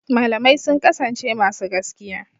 Malamai sun kasance masu gaskiya.